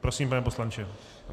Prosím, pane poslanče.